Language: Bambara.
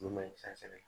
Nun bɛ cɛ sɛgɛn